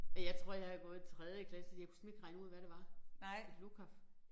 Og jeg tror jeg har gået i tredje klasse og jeg kunne simpelthen ikke regne ud hvad det var et lukaf